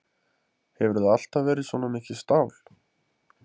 Hefurðu alltaf verið svona mikið stál?